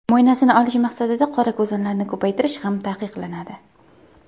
Mo‘ynasini olish maqsadida qorakuzanlarni ko‘paytirish ham taqiqlanadi.